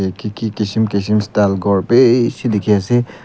itu ki kisum kisum style ghor bishi dikhi ase.